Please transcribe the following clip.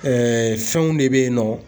fɛnw de bɛ yen nɔ.